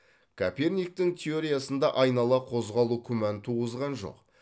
коперниктің теориясында айнала қозғалу күмән туғызған жоқ